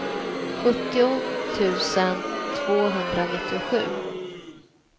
sjuttio tusen tvåhundranittiosju